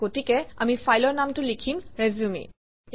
গতিকে আমি ফাইলৰ নামটো লিখিম - resume